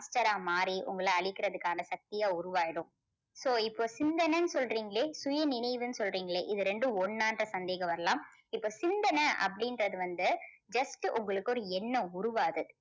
monster ஆ மாறி உங்கள அழிக்கிறதுக்கான சக்தியா உருவாயிடும். so இப்போ சிந்தனைன்னு சொல்றீங்களே சுயநினைவுன்னு சொல்றீங்களே இது ரெண்டும் ஒன்னான்ற சந்தேகம் வரலாம். இப்போ சிந்தனை அப்படின்றது வந்து just உங்களுக்கு ஒரு எண்ணம் உருவாகுது.